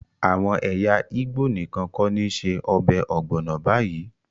Àwọn ẹyà Igbo nìkan kọ́ ni ṣe ọbẹ̀ ogbono báyìí